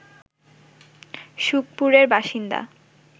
সুখপুরের বাসিন্দা